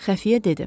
Xəfiyyə dedi.